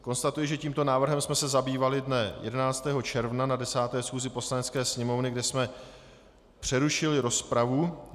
Konstatuji, že tímto návrhem jsme se zabývali dne 11. června na 10. schůzi Poslanecké sněmovny, kde jsme přerušili rozpravu.